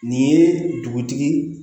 Nin ye dugutigi